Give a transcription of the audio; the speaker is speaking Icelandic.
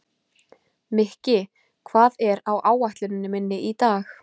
Mikki, hvað er á áætluninni minni í dag?